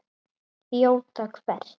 Þjóta hvert?